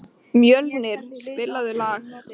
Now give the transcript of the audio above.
Mjölnir, spilaðu lag.